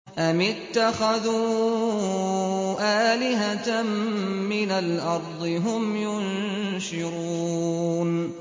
أَمِ اتَّخَذُوا آلِهَةً مِّنَ الْأَرْضِ هُمْ يُنشِرُونَ